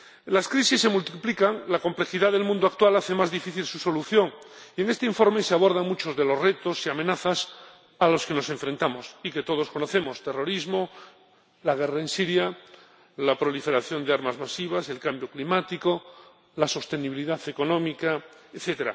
Las crisis se multiplican, la complejidad del mundo actual hace más difícil su solución, y en este informe se abordan muchos de los retos y amenazas a los que nos enfrentamos y que todos conocemos terrorismo, la guerra en Siria, la proliferación de armas masivas, el cambio climático, la sostenibilidad económica, etc.